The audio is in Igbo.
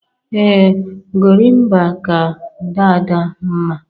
Ee Gorimpa ka Dada mma